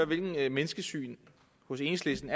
hvilket menneskesyn hos enhedslisten